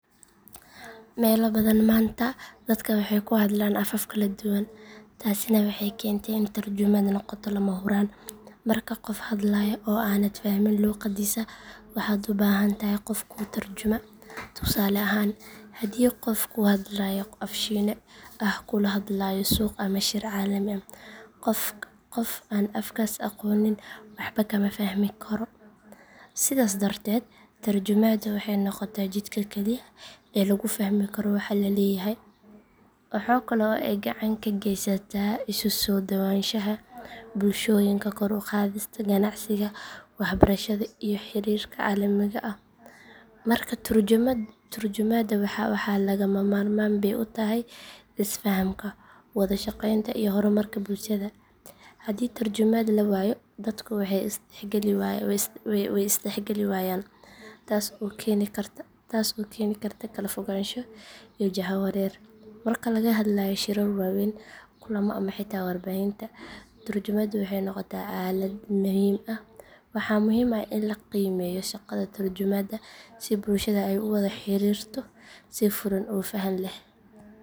Meelo badan maanta dadka waxay ku hadlaan afaf kala duwan, taasina waxay keentay in tarjumaaddu noqoto lama huraan. Marka qof hadlayo oo aanad fahmin luuqaddiisa, waxaad u baahan tahay qof kuu tarjuma. Tusaale ahaan, haddii qof ku hadlaya af Shiine ah kula hadlayo suuq ama shir caalami ah, qof aan afkaas aqoonin waxba kama fahmi karo. Sidaas darteed, tarjumaaddu waxay noqotaa jidka kaliya ee lagu fahmi karo waxa la leeyahay. Waxa kale oo ay gacan ka geysataa isu-soo dhowaanshaha bulshooyinka, kor u qaadista ganacsiga, waxbarashada, iyo xiriirka caalamiga ah. Marka tarjumaadda lagama maarmaan bey u tahay isfahamka, wada shaqeynta, iyo horumarka bulshada. Haddii tarjumaad la waayo, dadku way isdhexgeli waayaan, taas oo keeni karta kala fogaansho iyo jahawareer. Marka laga hadlayo shirar waaweyn, kulamo ama xitaa warbaahinta, tarjumaaddu waxay noqotaa aalad muhiim ah. Waxa muhiim ah in la qiimeeyo shaqada tarjumaadda si bulshada ay u wada xiriirto si furan oo fahan leh.